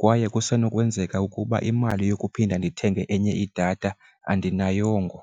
kwaye kusenokwenzeka ukuba imali yokuphinda ndithenge enye idatha andinayongo.